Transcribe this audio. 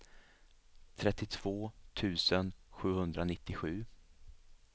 trettiotvå tusen sjuhundranittiosju